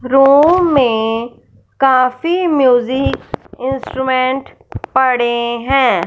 Room में काफी music instrument पड़े है।